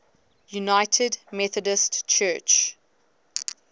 united methodist church